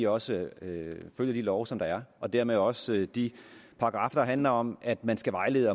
også følger de love som der er og dermed også de paragraffer der handler om at man skal vejlede